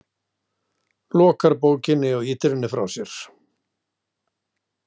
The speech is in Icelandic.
Lokar bókinni og ýtir henni frá sér.